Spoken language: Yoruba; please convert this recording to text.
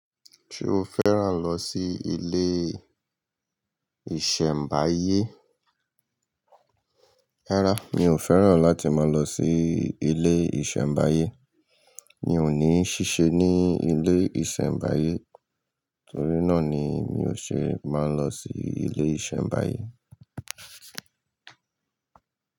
Ṣé o fẹ́ràn lọ sí ilé ìṣẹ̀mbáyé? Rárá, mi ò fẹ́ràn láti máa lọ sí ilé ìṣẹ̀mbáyé. Mi ò ní ṣíṣe ní ilé ìṣẹ̀mbáyé torí náà ni mi ò ṣe máa lọ sí ilé ìṣẹ̀mbáyé.